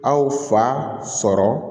Aw fa sɔrɔ